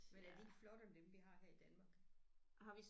Men er de ikke flottere end dem vi har her i Danmark?